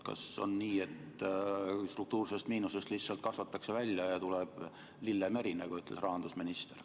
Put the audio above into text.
Kas on nii, et struktuursest miinusest lihtsalt kasvatatakse välja ja tuleb lillemeri, nagu ütles rahandusminister?